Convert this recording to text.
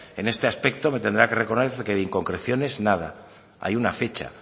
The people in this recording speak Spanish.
es este aspecto me tendrá que reconocer que de inconcreciones nada hay una fecha